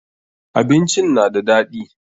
Abincin na da daɗi.